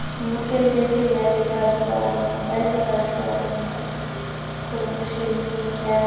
mmokelletsi ya lefshwang khomoshene ya